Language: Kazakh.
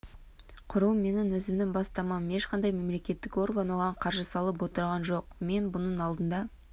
құру менің өзімнің бастамам ешқандай мемлекеттік орган оған қаржы салып отырған жоқ мен бұның алдында